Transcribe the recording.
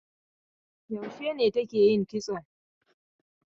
Yaushe ne take yin kitso?